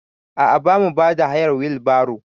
A a bamu bada hayar wil baro.